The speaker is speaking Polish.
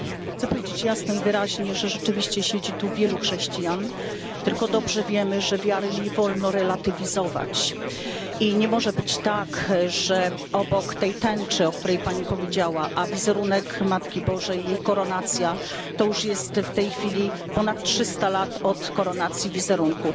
Chcę powiedzieć jasno i wyraźnie, że rzeczywiście siedzi tu wielu chrześcijan, tylko dobrze wiemy, że wiary nie wolno relatywizować. I nie może być tak, że obok tej tęczy, o której Pani powiedziała, a wizerunek Matki Bożej i jej koronacja, to już jest w tej chwili ponad 300 lat od koronacji wizerunku.